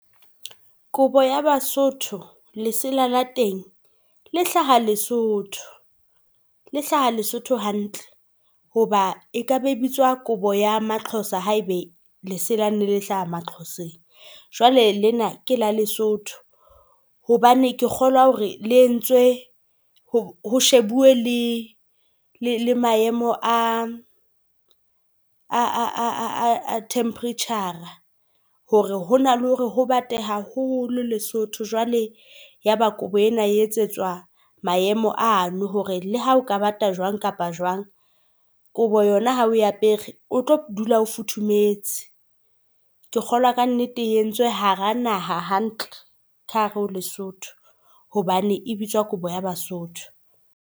Kobo ya baSotho lesela la teng le hlaha Lesotho. Le hlaha Lesotho hantle. Hoba e kaba e bitswa kobo ya maXhosa haeba lesela ne le hlaha maXhoseng. Jwale lena ke la Lesotho hobane ke kgolwa hore le entswe ho shebuwe le le maemo a a temperature-a. Hore hona le hore ho bate haholo Lesotho. Jwale yaba kobo ena e etsetswa maemo ano hore le ha ho ka bata jwang kapa jwang kobo yona ha o apere o tlo dula ho futhumetse. Ke kgola ka nnete e entswe hara naha hantle ka hare ho Lesotho hobane e bitswa kobo ya baSotho.